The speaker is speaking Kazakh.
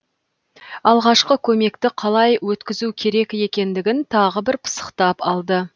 алғашқы көмекті қалай өткізу керек екендігін тағы бір пысықтап алды